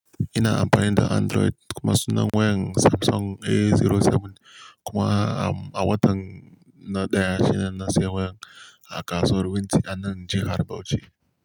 Ina amfani da Android kuma sunan wayan Samsung A07 kuma a watan na daya shine na siya wayan a kasuwar winti anan jihar Bauchi.